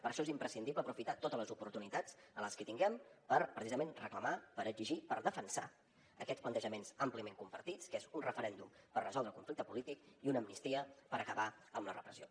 per això és imprescindible aprofitar totes les oportunitats les que tinguem per precisament reclamar per exigir per defensar aquests plantejaments àmpliament compartits que és un referèndum per resoldre el conflicte polític i una amnistia per acabar amb la repressió